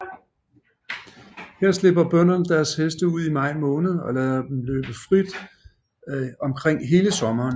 Her slipper bønderne deres heste ud i maj måned og lader dem løbe frit omkring hele sommeren